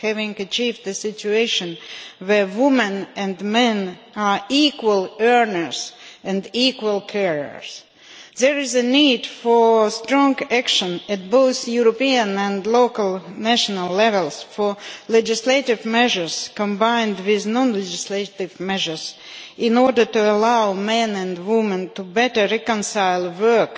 Having achieved the situation where women and men are equal earners and equal carers, there is a need for strong action at European, local and national levels for legislative measures, combined with non-legislative measures, in order to allow men and women to better reconcile work,